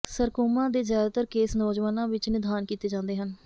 sarcoma ਦੇ ਜ਼ਿਆਦਾਤਰ case ਨੌਜਵਾਨਾਂ ਵਿੱਚ ਨਿਦਾਨ ਕੀਤੇ ਜਾਂਦੇ ਹਨ